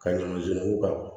Ka ɲuman k'a la